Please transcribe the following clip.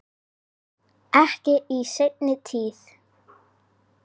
Ekki í seinni tíð.